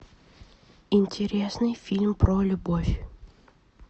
интересный фильм про любовь